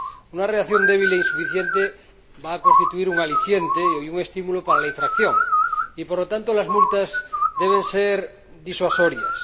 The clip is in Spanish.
Una reacción débil e insuficiente va a constituir un aliciente y un estímulo para la infracción y, por lo tanto, las multas deben ser disuasorias